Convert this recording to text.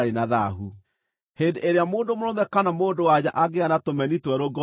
“Hĩndĩ ĩrĩa mũndũ mũrũme kana mũndũ-wa-nja angĩgĩa na tũmeni twerũ ngoothi-inĩ-rĩ,